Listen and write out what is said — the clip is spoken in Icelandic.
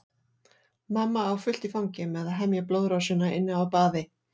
Mamma á fullt í fangi með að hemja blóðrásina inni á baði.